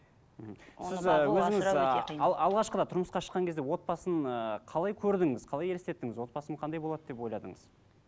мхм сіз і өзіңіз і алғашқыда тұрмысқа шықққан кезде отбасын ыыы қалай көрдіңіз қалай елестеттіңіз отбасым қандай болады деп ойладыңыз